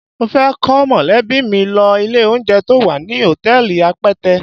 Mo fẹ́ kó mọ̀lẹ́bí mi lọ ilé-oúnjẹ to wà ní hòtẹ́ẹ̀lì Apẹtẹ.